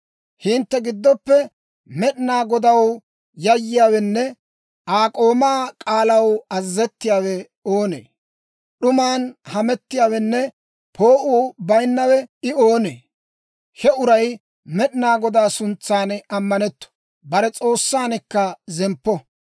Hintte giddoppe Med'inaa Godaw yayyiyaawenne Aa k'oomaa k'aalaw azazettiyaawe oonee? D'uman hamettiyaawenne poo'uu bayinnawe I oonee? He uray Med'inaa Godaa suntsan ammanetto; bare S'oossankka zemppo.